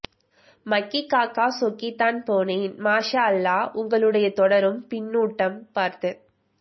மக்கிக்காக்கா சொக்கித்தான் போனேன் மாஷா அல்லாஹ் உங்களுடைய தொடரும் பின்னூட்டம் பார்த்து